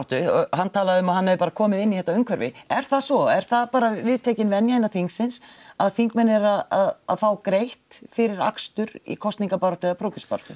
hann talaði um að hann hefði bara komið inn í þetta umhverfi er það svo er það bara viðtekin venja innan þingsins að þingmenn eru að fá greitt fyrir akstur í kosninga eða prófkjörsbaráttu